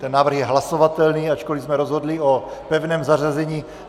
Ten návrh je hlasovatelný, ačkoliv jsme rozhodli o pevném zařazení.